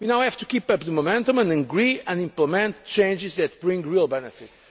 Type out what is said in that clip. We now have to keep up the momentum and agree and implement changes that bring real benefit.